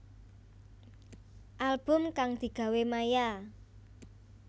Album kang digawe Maia